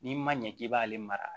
N'i ma ɲɛ k'i b'ale mara